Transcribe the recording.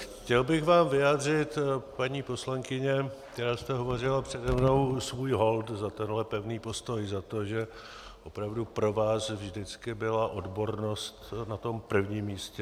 Chtěl bych vám vyjádřit, paní poslankyně, která jste hovořila přede mnou, svůj hold za tenhle pevný postoj, za to, že opravdu pro vás vždycky byla odbornost na tom prvním místě.